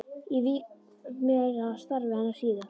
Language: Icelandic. Ég vík meira að starfi hennar síðar.